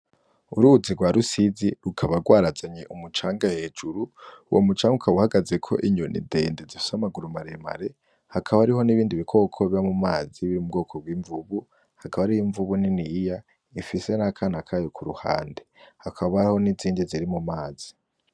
Uruzi rwa rusizi rukaba rwarazanye umucanga hejuru uwo mucanga ukaba uhagaze ko inyoni dende zifise amaguru maremare hakaba hariho n'ibindi bikoko biba mu mazi biri mu bwoko bw'imvubu, hakaba hariho imvubu niniya ifise n'akana kayo ku ruhande, hakaba gariho n'izindi ziri mu mazi.